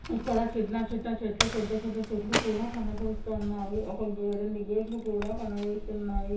ఇక్కడ చిన్న చిన్న చెట్లు పెద్ద పెద్ద చెట్లు కూడా కనబడుతున్నాయి. ఒక గేట్ రెండు గేట్లు కూడా కనబడుతున్నాయి.